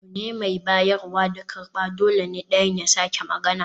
Abu ne mai bayarwa da karɓa, dole ne ɗayan ya sake magana